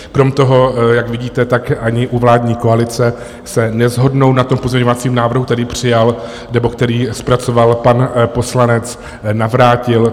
Krom toho, jak vidíte, tak ani u vládní koalice se neshodnou na tom pozměňovacím návrhu, který přijal, nebo který zpracoval pan poslanec Navrátil.